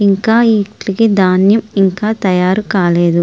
ఇంకా వీటికి ఇంకా ధాన్యం తయారు కాలేదు.